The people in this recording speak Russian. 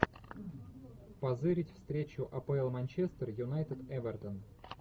позырить встречу апл манчестер юнайтед эвертон